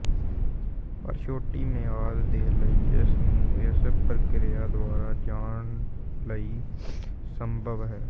ਪਰ ਛੋਟੀ ਮਿਆਦ ਦੇ ਲਈ ਇਸ ਨੂੰ ਇਸ ਪ੍ਰਕਿਰਿਆ ਦੁਆਰਾ ਜਾਣ ਲਈ ਸੰਭਵ ਹੈ